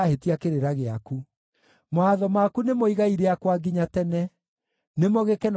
Mawatho maku nĩmo igai rĩakwa nginya tene; nĩmo gĩkeno kĩa ngoro yakwa.